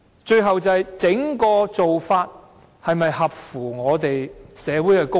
最後一點是整體做法是否合乎社會公益？